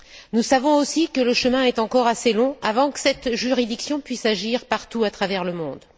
Nous savons aussi que le chemin est encore assez long avant que cette juridiction puisse agir partout à travers le monde.